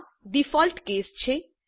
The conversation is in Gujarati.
આ ડીફોલ્ટ કેસ છે